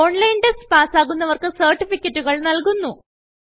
online test പാസ്സാകുന്നവർക്ക് സർട്ടിഫികറ്റുകൾ നല്കുന്നു